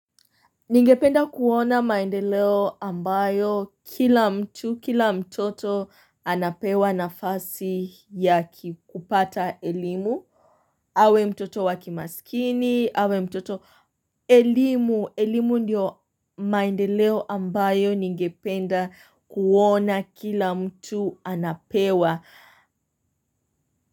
Ningependa kuona maendeleo ambayo kila mtu kila mtoto anapewa nafasi ya kupata elimu awe mtoto wakimasikini, awe mtoto elimu, elimu ndiyo maendeleo ambayo ningependa kuona kila mtu anapewa.